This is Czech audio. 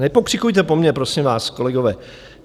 Nepokřikujte po mně, prosím vás, kolegové.